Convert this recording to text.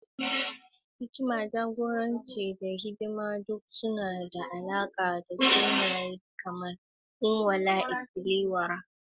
Hikima, jagoranci, da hidima duk suna da alaƙa da sunaye kamar Onwa-na-etili-ora.